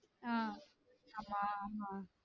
ஆஹ் ஆமா ஆமா